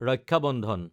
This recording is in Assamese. ৰক্ষা বন্ধন